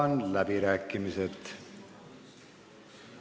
Avan läbirääkimised.